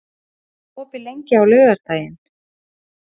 Fjölnir, hvað er opið lengi á laugardaginn?